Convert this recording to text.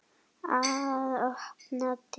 Að opna dyr.